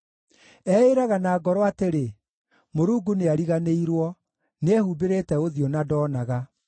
Eĩĩraga na ngoro atĩrĩ, “Mũrungu nĩariganĩirwo: nĩehumbĩrĩte ũthiũ na ndoonaga.”